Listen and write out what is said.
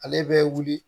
Ale bɛ wuli